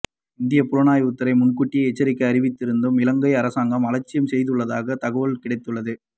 இந்திய புலனாய்வு துறை முன்கூட்டியே எச்சரிக்கை அறிவித்து இருந்தும் இலங்கை அரசாங்கம் அலட்சியம் செய்துள்ளதாக தகவல் கிடைத்துள்ளது